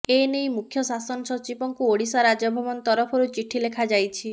ଏନେଇ ମୁଖ୍ୟ ଶାସନ ସଚିବଙ୍କୁ ଓଡିଶା ରାଜଭବନ ତରଫରୁ ଚିଠି ଲେଖା ଯାଇଛି